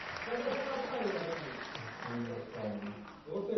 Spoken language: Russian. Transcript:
афина сальво